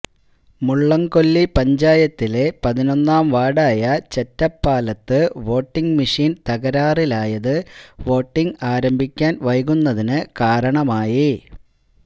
മുളളന്കൊല്ലി പഞ്ചായത്തിലെ പതിനൊന്നാം വാര്ഡായ ചെറ്റപ്പാലത്ത് വോട്ടിംഗ് മെഷീന് തകരാറിലായത് വോട്ടിംഗ് ആരംഭിക്കാന് വൈകുന്നതിന് കാരണമായി